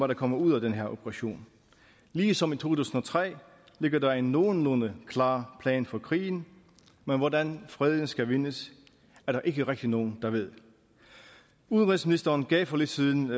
der kommer ud af den her operation ligesom i to tusind og tre ligger der en nogenlunde klar plan for krigen men hvordan freden skal vindes er der ikke rigtig nogen der ved udenrigsministeren gav for lidt siden